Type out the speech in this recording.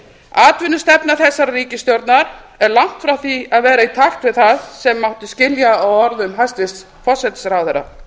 atvinnustefna þessarar ríkisstjórnar er langt frá því að vera í takt við það sem mátti skilja á orðum hæstvirts forsætisráðherra